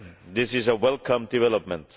This is a welcome development.